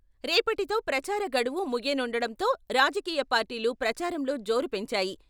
రేపటితో ప్రచార గడువు ముగియనుండటంతో రాజకీయ పార్టీలు ప్రచారంలో జోరు పెంచాయి.